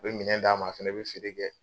u be minɛn d'a ma a fɛnɛ be feere kɛ